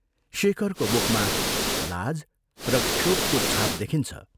शेखरको मुखमा लाज र क्षोभको छाप देखिन्छ।